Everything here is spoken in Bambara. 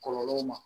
Kɔlɔlɔw ma